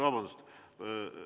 Vabandust!